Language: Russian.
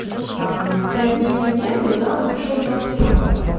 там пять дней его не было да он пришёл двадцать пятого